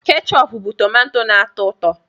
Kéchoopu bụ tómantó na-atọ ụtọ